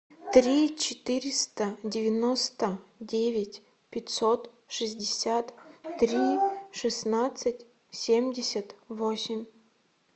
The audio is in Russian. три четыреста девяносто девять пятьсот шестьдесят три шестнадцать семьдесят восемь